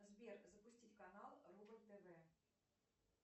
сбер запустить канал рубль тв